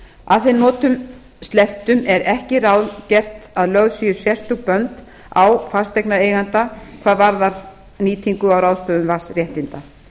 að þeim notum slepptum er ekki ráðgert að lögð séu sérstök bönd á fasteignareiganda hvað varðar nýtingu á ráðstöfun vatnsréttinda